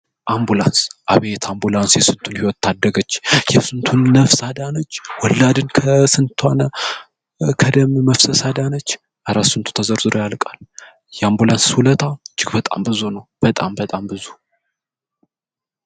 አምቡላንስ :አምቡላንስ አቤት የስንቱን ሰዉ ህይወት ታደገች ስንቱን ነፍስ አዳነች ወላድን ከደም መፍሰስ አዳነች አረ ስንቱ ተዘርዝሮ ያልቃል የአምቡላንስ ዉለታ እጅግ በጣም ብዙ ነዉ። እጅግ በጣም በጣም ብዙ።